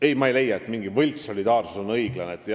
Ei, ma ei leia, et mingi võltssolidaarsus oleks õiglane.